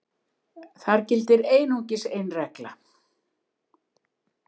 þar gildir einungis ein regla